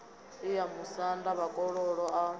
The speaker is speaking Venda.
i ya musanda vhakololo a